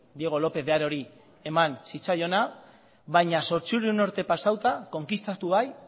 diego lópez de harori eman zitzaiona baina zortziehun urte pasatuta konkistatua bai